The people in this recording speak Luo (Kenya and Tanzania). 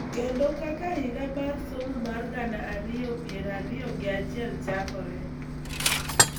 Kendo kaka higa mar somo mar gana ariyo gi piero ariyo gi achiel chakore,